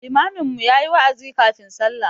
Limamin mu ya yi wa'azi kafin sallah.